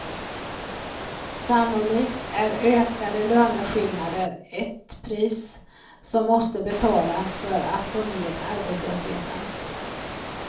Sannolikt är ökade löneskillnader ett pris som måste betalas för att få ned arbetslösheten.